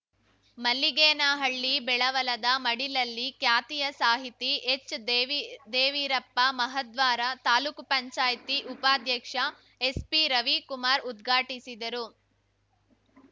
ಮಲ್ಲಿಗೇನಹಳ್ಳಿ ಬೆಳವಲದ ಮಡಿಲಲ್ಲಿ ಖ್ಯಾತಿಯ ಸಾಹಿತಿ ಎಚ್‌ದೇವೀದೇವೀರಪ್ಪ ಮಹಾದ್ವಾರ ತಾಲೂಕು ಪಂಚಾಯ್ತಿ ಉಪಾಧ್ಯಕ್ಷ ಎಸ್‌ಪಿರವಿಕುಮಾರ್‌ ಉದ್ಘಾಟಿಸಿದರು